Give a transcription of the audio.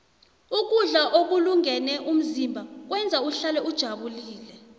ukudla ukulungele umzimba kwenza uhlale ujabulile